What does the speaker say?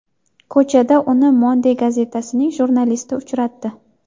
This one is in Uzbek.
Ko‘chada uni Monde gazetasining jurnalisti uchratdi.